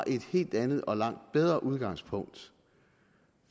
et helt andet og langt bedre udgangspunkt